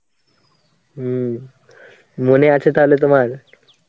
হম , মনে আছে তাহলে তোমার?